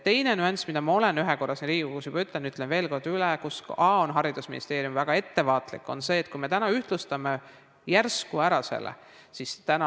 Teine nüanss, mida ma olen ühe korra siin Riigikogus juba öelnud ja ütlen veel kord üle ning mille puhul ka haridusministeerium on väga ettevaatlik, on see, kui me ühtlustame selle ära järsult.